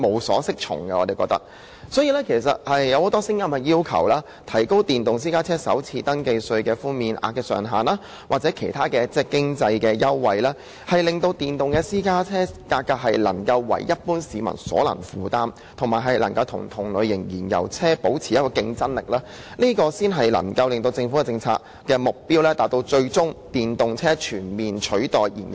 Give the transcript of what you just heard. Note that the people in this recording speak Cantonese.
所以，現時有很多聲音也要求政府提高電動私家車首次登記稅的寬免上限，或提供其他經濟優惠，使電動私家車價格能夠為一般市民所能負擔，同時可與同類型燃油車保持競爭力，這才能夠達到政府政策的最終目標，就是以電動車全面取代燃油車。